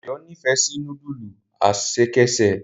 Dayo n'ifẹ sí nudulu ẹsẹkẹsẹ.